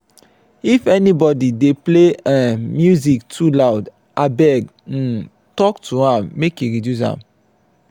if anybody dey play um music too loud abeg um talk to am make e reduce am.